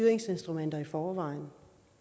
forvejen